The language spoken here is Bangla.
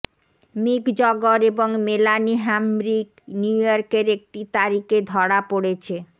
মিক জগর এবং মেলানি হ্যাম্রিক নিউইয়র্কের একটি তারিখে ধরা পড়েছে